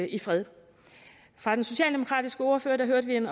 i fred fra den socialdemokratiske ordfører hørte vi en